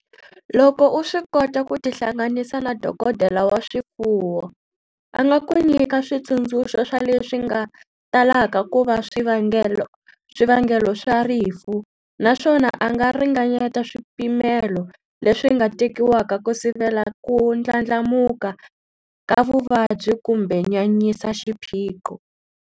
Loko u swi kota ku tihlanganisa na dokodela wa swifuwo, a nga ku nyika switsundzuxo swa leswi nga talaka ku va swivangelo swa rifu naswona a nga ringanyeta swipimelo leswi nga tekiwaka ku sivela ku ndlandlamuka ka vuvabyi kumbe nyanyisa xiphiqo.